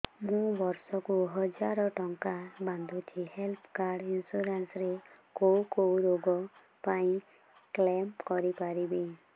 ମୁଁ ବର୍ଷ କୁ ହଜାର ଟଙ୍କା ବାନ୍ଧୁଛି ହେଲ୍ଥ ଇନ୍ସୁରାନ୍ସ ରେ କୋଉ କୋଉ ରୋଗ ପାଇଁ କ୍ଳେମ କରିପାରିବି